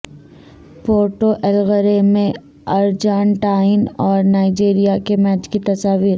Puerto Alegre میں Argentine اور Nigeria کے میچ کی تصاویر